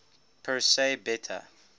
persei beta